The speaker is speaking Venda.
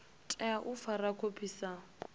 tea u fara khophi sa